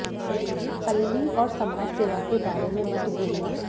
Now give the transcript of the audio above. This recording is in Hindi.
पल्ली और समाज सेवा के बारे में मत भूलना